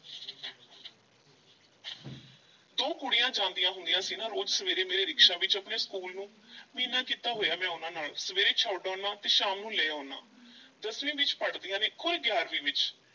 ਦੋ ਕੁੜੀਆਂ ਜਾਂਦੀਆਂ ਹੁੰਦੀਆਂ ਸੀ ਨਾ ਰੋਜ਼ ਸਵੇਰੇ ਮੇਰੇ ਰਿਕਸ਼ਾ ਵਿੱਚ ਆਪਣੇ ਸਕੂਲ ਨੂੰ ਮਹੀਨਾ ਕੀਤਾ ਹੋਇਆ ਮੈਂ ਉਹਨਾਂ ਨਾਲ, ਸਵੇਰੇ ਛੱਡ ਆਉਨਾ ਤੇ ਸ਼ਾਮ ਨੂੰ ਲੈ ਆਉਨਾ, ਦਸਵੀਂ ਵਿੱਚ ਪੜ੍ਹਦੀਆਂ ਨੇ ਖੌਰੇ ਗਿਆਰਵੀਂ ਵਿੱਚ?